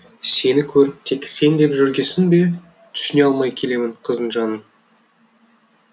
сені көріп тек сен деп жүргесін бе түсіне алмай келемін қыздың жанын